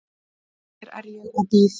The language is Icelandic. Hér er ég og bíð.